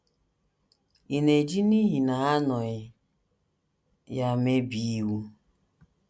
Ị̀ na - eji n’ihi na ha anọghị ya mebie iwu?